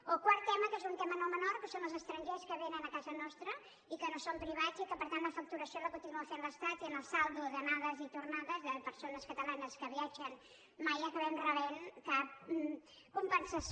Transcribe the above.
o quart tema que és un tema no menor que són els estrangers que vénen a casa nostra i que no són privats i que per tant la facturació la continua fent l’estat i en el saldo d’anades i tornades de persones catalanes que viatgen mai acabem rebent cap compensació